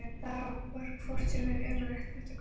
Það var hvort sem er ómögulegt þetta kort.